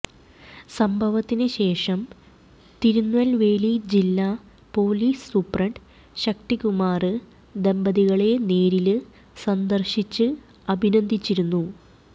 സംഭവത്തിന് ശേഷം തിരുനല്വേലി ജില്ലാ പൊലിസ് സൂപ്രണ്ട് ശക്തികുമാര് ദമ്പതികളെ നേരില് സന്ദര്ശിച്ച് അഭിനന്ദിച്ചിരുന്നു